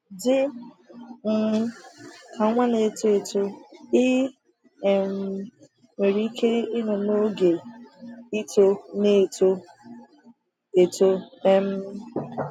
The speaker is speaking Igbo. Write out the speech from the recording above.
Dị um ka nwa na-eto eto, ị um nwere ike ịnọ n’oge “ịtọ n’eto eto.” um